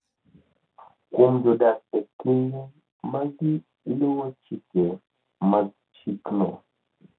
kuom jodak e kinde ma giluwo chike mag chikno.